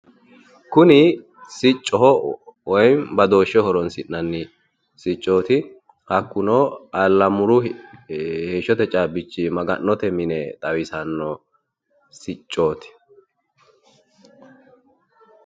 Kuni siccoho woyim badooshsheho horonsi'nanni siccooti hakkuno Allamuru heeshshote caabbichi maga'note mini xawisanno siccooti.